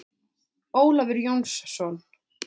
Ólafur Jónsson.